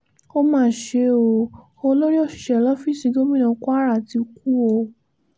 ó máa ṣe ọ́ olórí òṣìṣẹ́ lọ́fíìsì gómìnà kwara ti kú o